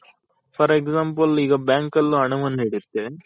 for Example ಈಗ bank ಅಲ್ ಹಣವನು